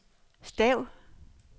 stav